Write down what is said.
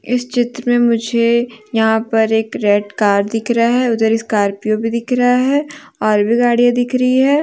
इस चित्र में मुझे यहां पर एक रेड कार दिख रहा है उधर एक स्कॉर्पियो भी दिख रहा है और भी गाड़ियां दिख रही है।